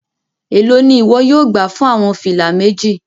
Elo ni iwọ yóò gba fun awọn fila meji?